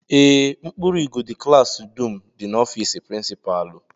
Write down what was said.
Ee, mkpụrụ igodo klaasị dum dị n'ofịịsị prịnsịpalụ